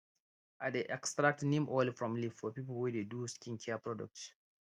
i dey extract neem oil from leaf for people wey dey do skincare product